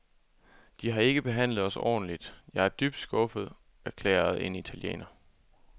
De har ikke behandlet os ordentligt, jeg er dybt skuffet, erklærede en italiener.